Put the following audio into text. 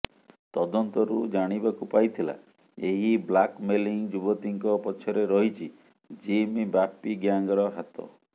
ତଦନ୍ତରୁ ଜାଣିବାକୁ ପାଇଥିଲା ଏହି ବ୍ଲାକମେଲିଂ ଯୁବତୀଙ୍କ ପଛରେ ରହିଛି ଜିମ୍ ବାପି ଗ୍ୟାଙ୍ଗର ହାତ